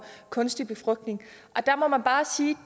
kunstig befrugtning der må man bare sige